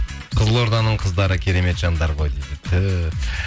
қызылорданың қыздары керемет жандар ғой дейді түһ